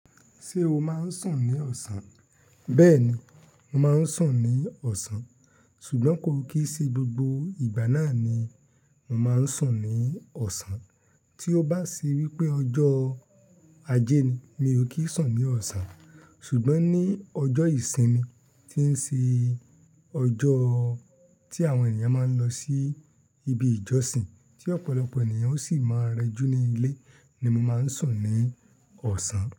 Ṣé o máa ń sùn ní ọ̀sán? Bẹ́ẹ̀ ni, mo máa ń sùn ní ọ̀sán. Ṣùgbọ́n ko kí í ṣẹ gbogbo ìgbà náà ni mo máa ń sùn ní ọ̀sán. Tí ó bá sí wípé ọjọ́ ajé ni, mi ò kí ń sùn ní ọ̀sán. Ṣùgbọ́n ní ọjọ́ ìsinmi tí ń ṣe ọjọ́ tí àwọn ènìyàn máa ń lọ sí ibi ìjọsìn tí ọ̀pọ̀lọpọ̀ ènìyàn sì máa rẹjú ní ilé ni mo máa ń sùn ní ọ̀sán.